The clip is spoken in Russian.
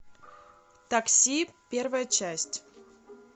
такси первая часть